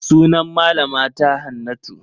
Sunan malama ta Hannatu.